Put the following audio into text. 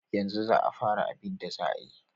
Yanzu za a fara abida za a yi.